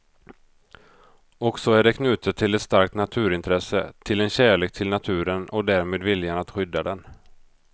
Och så är det knutet till ett starkt naturintresse, till en kärlek till naturen och därmed viljan att skydda den.